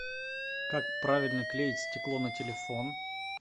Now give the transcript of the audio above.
как правильно клеить стекло на телефон